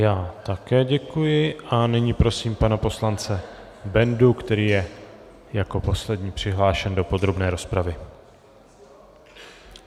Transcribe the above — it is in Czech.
Já také děkuji a nyní prosím pana poslance Bendu, který je jako poslední přihlášen do podrobné rozpravy.